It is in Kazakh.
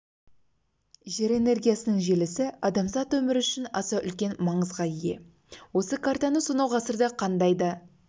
жер энергиясының желісі адамзат өмірі үшін аса үлкен маңызға ие осы картаны сонау ғасырда қандай да